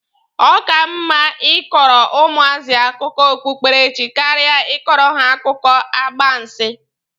Ọ ka mma Ị kọrọ ụmụazị akụkọ okpukpere chi karịa ịkọrọ ha akụkọ agbansi.